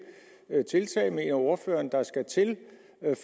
tiltag ordføreren mener der skal til